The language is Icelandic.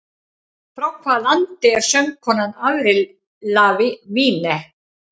Frá hvaða landi er söngkonan Avril Lavigne?